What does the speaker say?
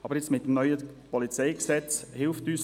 Aber jetzt hilft uns das neue Polizeigesetz (PolG) dabei;